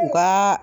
U ka